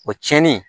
O cɛnin